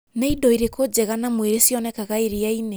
Nĩ indo irĩkũ njega na mwĩrĩ cionekaga iria-inĩ